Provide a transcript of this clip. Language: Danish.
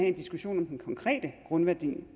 en diskussion om den konkrete grundvurdering